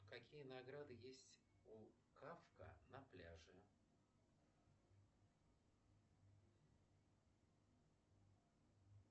какие награды есть у кафка на пляже